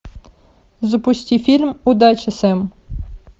запусти фильм удачи сэм